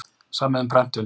Samið um prentun